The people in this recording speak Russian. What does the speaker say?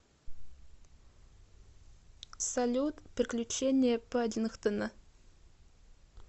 салют приключения паддингтона